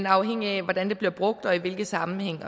afhængigt af hvordan det bliver brugt og i hvilke sammenhænge